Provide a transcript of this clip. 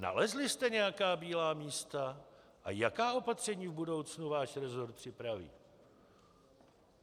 Nalezli jste nějaká bílá místa a jaká opatření v budoucnu váš resort připraví?